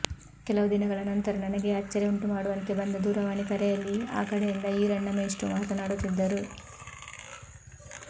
ಕೆಲವು ದಿನಗಳ ನಂತರ ನನಗೇ ಅಚ್ಚರಿ ಉಂಟು ಮಾಡುವಂತೆ ಬಂದ ದೂರವಾಣಿ ಕರೆಯಲ್ಲಿ ಆ ಕಡೆಯಿಂದ ಈರಣ್ಣ ಮೇಷ್ಟ್ರು ಮಾತನಾಡುತ್ತಿದ್ದರು